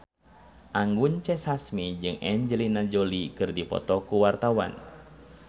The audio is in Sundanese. Anggun C. Sasmi jeung Angelina Jolie keur dipoto ku wartawan